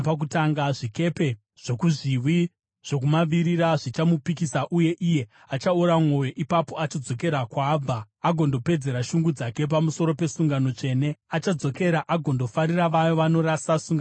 Zvikepe zvokuzviwi zvokumavirira zvichamupikisa, uye iye achaora mwoyo. Ipapo achadzokera kwaabva agondopedzera shungu dzake pamusoro pesungano tsvene. Achadzokera agondofarira vaya vanorasa sungano tsvene.